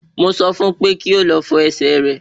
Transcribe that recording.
Mo sọ fún un pé kí ó lọ fọ ẹsẹ̀ rẹ̀